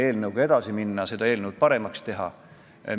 Ma olen nõus, et see eelnõu säärasel kujul, nagu ta sisse anti, on toores.